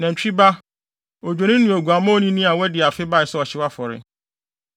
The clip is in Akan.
nantwi ba, odwennini ne oguamma onini a wadi afe bae sɛ ɔhyew afɔre;